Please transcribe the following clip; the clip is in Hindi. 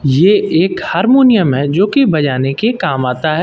ये एक हारमोनियम है जो कि बजाने के काम आता है।